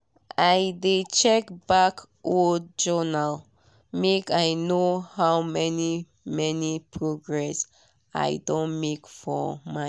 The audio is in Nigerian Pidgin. i de check back old journal make i know how many many progress i don make for mind.